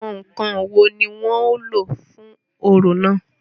Àwọn ǹkan wo ni wọ́n ó lò fún orò náà?